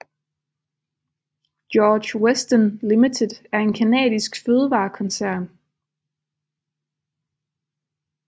George Weston Limited er en canadisk fødevarekoncern